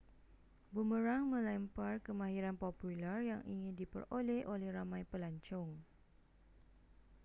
bomerang melempar kemahiran popular yang ingin diperoleh oleh ramai pelancong